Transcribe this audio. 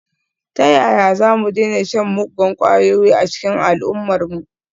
Ta yaya za mu daina shan muggan kwayoyi a cikin al’ummarmu?